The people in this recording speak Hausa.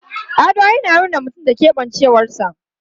Ado yana nuna mutum da keɓancewarsa.